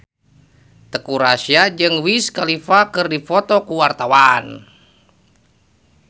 Teuku Rassya jeung Wiz Khalifa keur dipoto ku wartawan